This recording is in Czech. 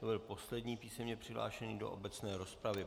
To byl poslední písemně přihlášený do obecné rozpravy.